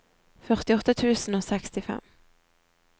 førtiåtte tusen og sekstifem